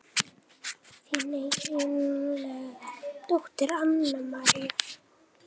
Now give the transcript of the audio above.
Þín einlæga dóttir Anna María.